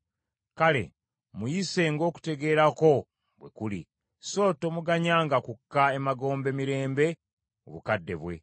Kale muyise ng’okutegeera kwo bwe kuli, so tomuganyanga kukka emagombe mirembe mu bukadde bwe.